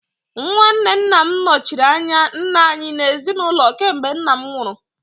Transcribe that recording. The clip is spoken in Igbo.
Nwanne Nna m nọchiri anya nna anyị n'ezinụlọ kemgbe nna m nwụrụ